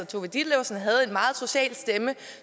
tove ditlevsen havde en meget social stemme